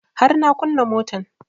Har na kunna motan